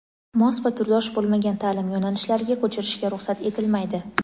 mos va turdosh bo‘lmagan ta’lim yo‘nalishlariga ko‘chirishga ruxsat etilmaydi.